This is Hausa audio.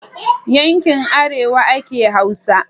Yankin arewa ake hausa